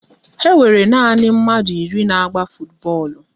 Ha nwere na nanị mmadụ iri na-agba futubọọlụ